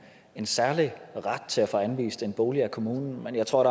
en særlig ret til at få anvist en bolig af kommunen men jeg tror